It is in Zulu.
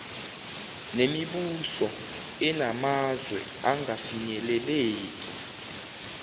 nemibuso enamazwe angafinyeleleki